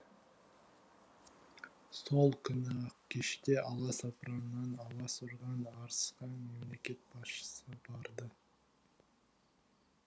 сол күні ақ кеште аласапыраннан алас ұрған арысқа мемлекет басшысы барды